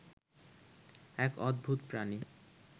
এক অদ্ভূত প্রাণী